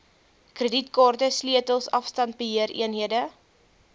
kredietkaarte sleutels afstandbeheereenhede